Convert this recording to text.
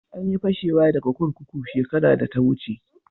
An yi fashewa daga kurkuku shekaran da ta wuce.